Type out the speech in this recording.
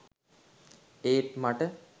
ඒත් මට